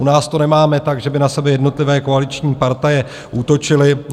U nás to nemáme tak, že by na sebe jednotlivé koaliční partaje útočily.